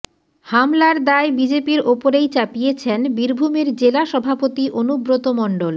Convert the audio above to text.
হামলার দায় বিজেপির ওপরেই চাপিয়েছেন বীরভূমের জেলা সভাপতি অনুব্রত মণ্ডল